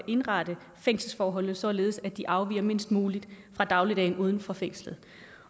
indrette fængselsforholdene således de afviger mindst muligt fra dagligdagen uden for fængslet